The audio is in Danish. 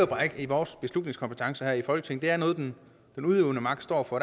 bare ikke i vores beslutningskompetencer her i folketinget er noget den udøvende magt står for